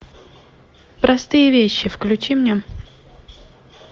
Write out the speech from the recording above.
простые вещи включи мне